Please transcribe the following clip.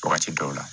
Wagati dɔw la